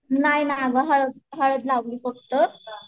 नाही ना ग हळद हळद लावली फक्त